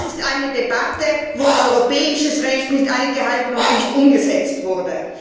Das ist eine Debatte, wo europäisches Recht nicht eingehalten und nicht umgesetzt wurde.